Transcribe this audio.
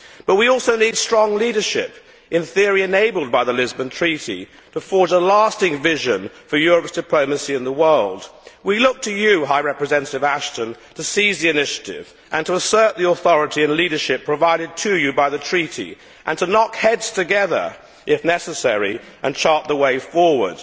But we also need strong leadership, in theory enabled by the Lisbon Treaty, to forge a lasting vision for Europe's diplomacy in the world. We look to you, High Representative Ashton, to seize the initiative and to assert the authority and leadership provided to you by the treaty, to knock heads together if necessary and to chart the way forward.